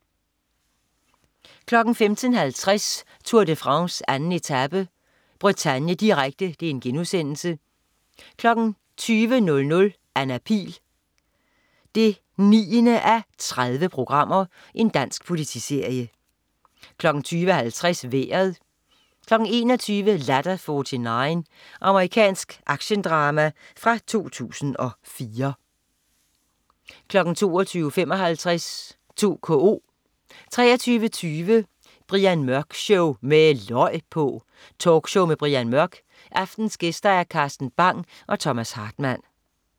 15.50 Tour de France: 2. etape. Bretagne, direkte* 20.00 Anna Pihl 9:30. Dansk politiserie 20.50 Vejret 21.00 Ladder 49. Amerikansk actiondrama fra 2004 22.55 2KO 23.20 Brian Mørk Show, med løg på! Talkshow med Brian Mørk. Aftenens gæster: Carsten Bang og Thomas Hartmann